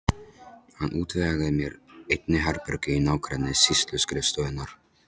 Hann útvegaði mér einnig herbergi í nágrenni sýsluskrifstofunnar.